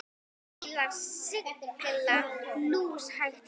Bílar sigla lúshægt hjá.